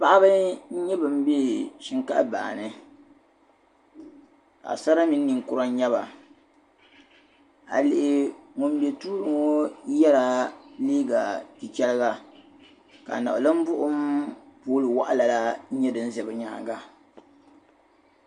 Paɣaba n-nyɛ ban bɛ shinkaafa bahi ni paɣ'sara mini ninkura n-nyɛba a yi lihi ŋun bɛ tuuli ŋɔ yɛla liiga chichɛriga ka niɣilimbuɣim poli waɣila la n-nyɛ din za bɛ nyaaŋa